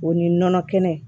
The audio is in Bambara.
O ni nɔnɔ kɛnɛ